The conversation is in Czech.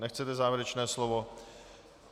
Nechcete závěrečné slovo.